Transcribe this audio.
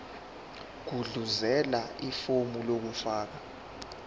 gudluzela ifomu lokufaka